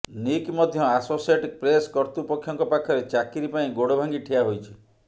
Nick ମଧ୍ୟ associated press କର୍ତୃପକ୍ଷଙ୍କ ପାଖରେ ଚାକିରି ପାଇଁ ଗୋଡଭାଙ୍ଗି ଠିଆହୋଇଛି